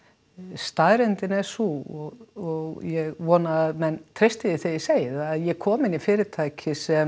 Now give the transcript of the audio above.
staðreyndin var sú og ég vona að menn treysti því þegar ég segi það að ég kom inn í fyrirtæki sem